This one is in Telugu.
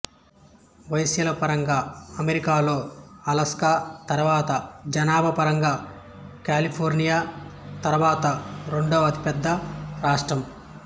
వైశాల్య పరంగా అమెరికాలో అలస్కా తర్వాత జనాభా పరంగా కాలిఫోర్నియా తర్వాత రెండవ అతిపెద్ద రాష్ట్రం